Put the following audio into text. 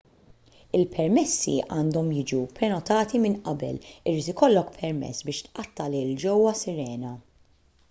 il-permessi għandhom jiġu prenotati minn qabel irid ikollok permess biex tqatta' lejl ġewwa sirena